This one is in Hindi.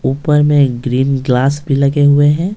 ऊपर में ग्रीन ग्लास भी लगे हुए हैं।